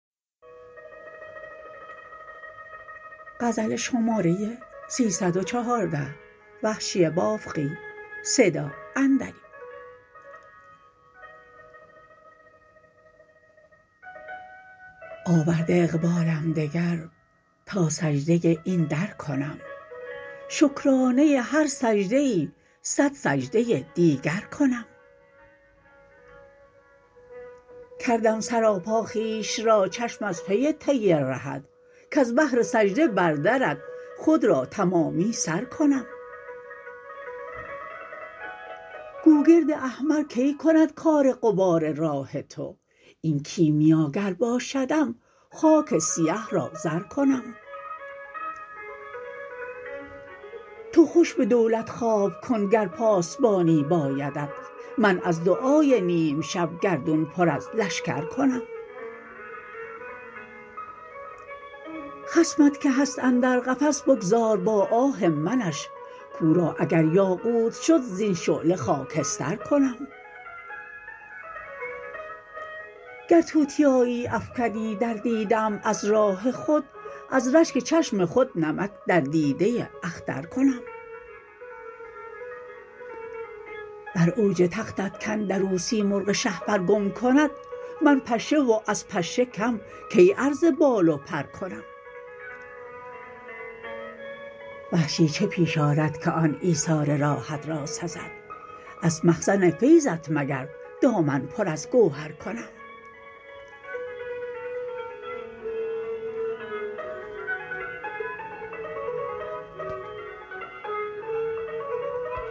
آورده اقبالم دگر تا سجده این در کنم شکرانه هر سجده ای صد سجده دیگر کنم کردم سراپا خویش را چشم از پی طی رهت کز بهر سجده بر درت خود را تمامی سرکنم گوگرد احمر کی کند کار غبار راه تو این کیمیاگر باشدم خاک سیه را زر کنم تو خوش به دولت خواب کن گر پاسبانی بایدت من از دعای نیم شب گردون پر از لشکر کنم خصمت که هست اندر قفس بگذار با آه منش کو را اگریاقوت شد زین شعله خاکستر کنم گر توتیایی افکنی در دیده ام از راه خود از رشک چشم خود نمک در دیده اخترکنم بر اوج تختت کاندر او سیمرغ شهپر گم کند من پشه و از پشه کم کی عرض بال و پرکنم وحشی چه پیش آرد که آن ایثار راهت را سزد از مخزن فیضت مگر دامن پر از گوهر کنم